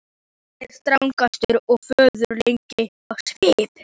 Hann er strangur og föður legur á svip.